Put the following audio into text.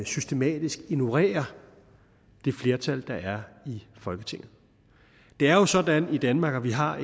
systematisk ignorerer det flertal der er i folketinget det er jo sådan i danmark at vi har